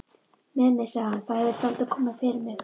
Mimi, sagði hann, það hefur dálítið komið fyrir mig